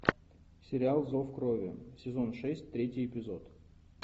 сериал зов крови сезон шесть третий эпизод